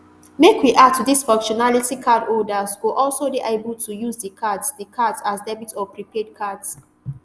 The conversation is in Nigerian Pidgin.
make we add to dis functionality cardholders go also dey able to use di cards di cards as debit or prepaid cards